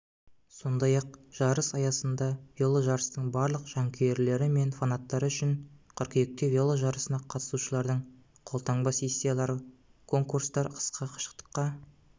сондай-ақ жарыс аясында веложарыстың барлық жанкүйерлері мен фанаттары үшін қыркүйекте веложарысына қатысушылардың қолтаңба-сессиялары конкурстар қысқа қашықтыққа